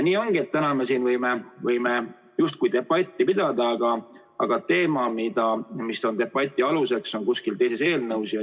Nii ongi, et täna me võime justkui debatti pidada, aga teema, mis on debati aluseks, on kuskil teises eelnõus.